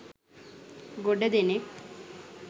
ගොඩ දෙනෙක්